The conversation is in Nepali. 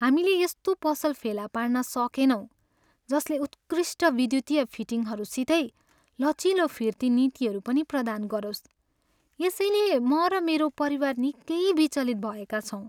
हामीले यस्तो पसल फेला पार्न सकेनौँ जसले उत्कृष्ट विद्युतीय फिटिङ्हरूसितै लचिलो फिर्ती नीतिहरू पनि प्रदान गरोस्, यसैले म र मेरो परिवार निकै विचलित भएका छौँ।